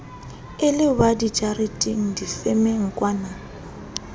e le wa dijareteng difemengkwana